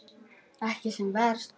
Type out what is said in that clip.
Ekki sem verst?